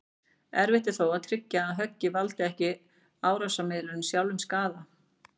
Erfitt er þó að tryggja að höggið valdi ekki árásaraðilanum sjálfum skaða.